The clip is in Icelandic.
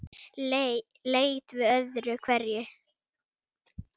Leit við öðru hverju.